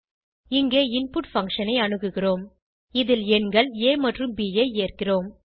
இங்கே input function ஐ அணுகுகிறோம் இதில் எண்கள் ஆ மற்றும் ப் ஐ ஏற்கிறோம்